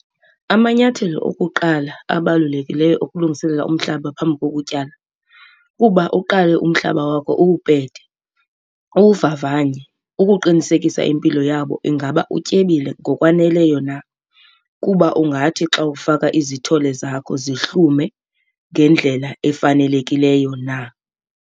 Amanyathelo okuqala abalulekileyo okulungiselela umhlaba phambi kokutyala kuba uqale umhlaba wakho uwupete, uwuvavanye ukuqinisekisa impilo yabo, ingaba utyebile ngokwaneleyo na kuba ungathi xa ufaka izithole zakho zihlume ngendlela efanelekileyo na.